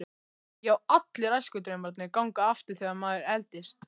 Já, allir æskudraumarnir ganga aftur þegar maður eldist.